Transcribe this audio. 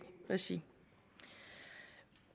regi